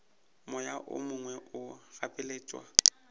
moya o mongwe o gapeletšwa